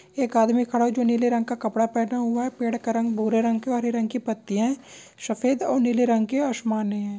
एक आदमी खड़ा हुआ है। जो नीले रंग का कपड़ा पहना हुआ है। पेड़ का रंग भूरे रंग और हरे रंग की पत्तिया है। सफ़ेद और नीले रंग के आशमान है।